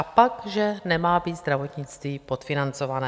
A pak že nemá být zdravotnictví podfinancované!